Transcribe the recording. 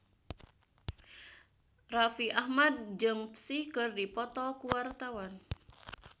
Raffi Ahmad jeung Psy keur dipoto ku wartawan